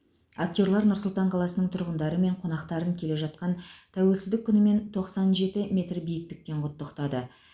актерлар нұр сұлтан қаласының тұрғындары мен қонақтарын келе жатқан тәуелсіздік күнімен тоқсан жеті метр биіктіктен құттықтады